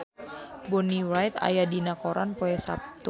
Bonnie Wright aya dina koran poe Saptu